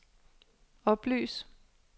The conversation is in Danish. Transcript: oplys